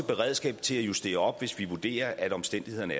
beredskab til at justere op hvis vi vurderer at omstændighederne